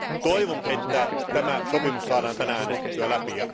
Toivon, että tämä sopimus saadaan tänään äänestettyä läpi.